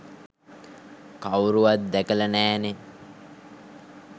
කවුරුවත් දැකලා නෑනේ.